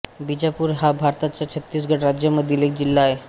बीजापूर हा भारताच्या छत्तीसगढ राज्यामधील एक जिल्हा आहे